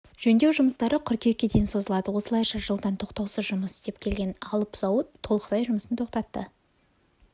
жөндеу жұмыстары қыркүйекке дейін созылады осылайша жылдан тоқтаусыз жұмыс істеп келген алып зауыт толықтай жұмысын тоқтатты